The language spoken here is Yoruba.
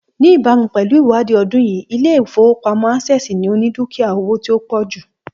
Ní ìbámu pẹ̀lú ìwádìí ọdún yìí, Ilé ìfowópamó̩ Access ni ó ni dúkìá owó tí ó pò̩ jù